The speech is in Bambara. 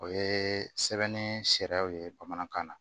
O ye sɛbɛnni sariyaw ye bamanankan na